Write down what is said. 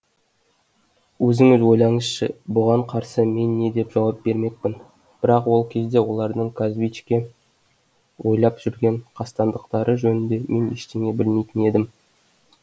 өзіңіз ойлаңызшы бұған қарсы мен не деп жауап бермекпін бірақ ол кезде олардың казбичке ойлап жүрген қастандықтары жөнінде мен ештеңе білмейтін едім